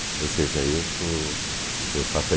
Ou seja, eu sou, eu faço a